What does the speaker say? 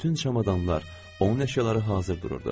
Bütün çamadanlar, onun əşyaları hazır dururdu.